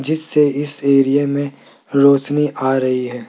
जिससे इस एरिया में रोशनी आ रही है।